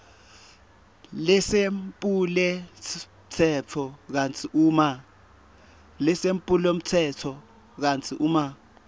lesephulomtsetfo kantsi uma